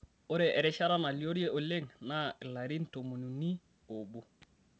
Ore erishata naaliore oleng' naa larin tomoni uni oobo.